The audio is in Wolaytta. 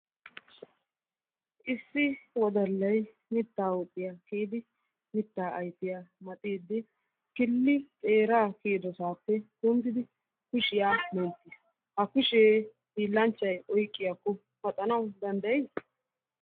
Issi wodallay mittaa huuphiya kiyidi mittaa ayfiyaa maxiiddi killi xeeraa kiyidosaappe kundidi kushiya menttis. Ha kushee hiillanchchay oyqiyakko paxanawu danddayi?